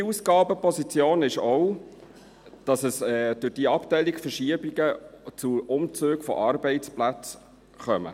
Eine weitere Ausgabenposition ist auch, dass es durch die Abteilungsverschiebungen zu Umzügen von Arbeitsplätzen kommt.